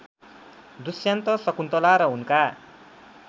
दुष्यन्त शकुन्तला र उनका